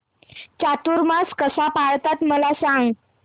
चातुर्मास कसा पाळतात मला सांग